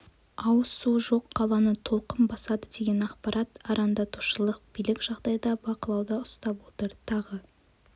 ауыз суы жоқ қаланы толқын басады деген ақпарат арандатушылық билік жағдайда бақылауда ұстап отыр тағы